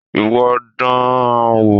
Ìwọ dán an wò.